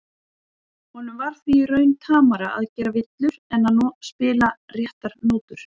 Honum var því í raun tamara að gera villur en að spila réttar nótur.